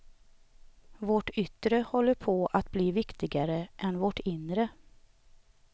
Vårt yttre håller på att bli viktigare än vårt inre.